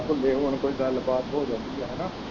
ਘੱਲੇ ਹੁਣ ਕੋਈ ਗੱਲ ਬਾਤ ਹੋ ਜਾਂਦੀ ਹੈ ਹਨਾਂ।